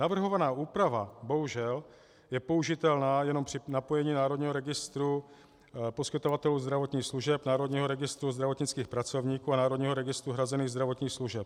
Navrhovaná úprava, bohužel, je použitelná jenom při napojení Národního registru poskytovatelů zdravotních služeb, Národního registru zdravotnických pracovníků a Národního registru hrazených zdravotních služeb.